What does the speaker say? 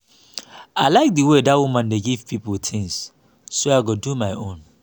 i like the way dat woman dey give people things so i go do my own